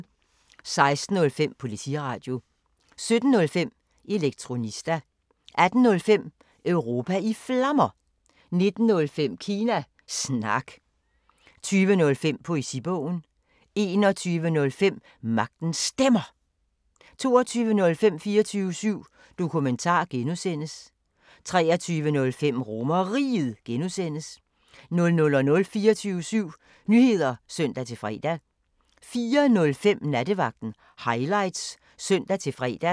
16:05: Politiradio 17:05: Elektronista 18:05: Europa i Flammer 19:05: Kina Snak 20:05: Poesibogen 21:05: Magtens Stemmer 22:05: 24syv Dokumentar (G) 23:05: RomerRiget (G) 00:00: 24syv Nyheder (søn-fre) 04:05: Nattevagten Highlights (søn-fre)